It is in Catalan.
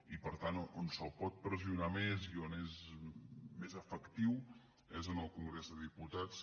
i per tant on se’l pot pressionar més i on és més efectiu és en el congrés de diputats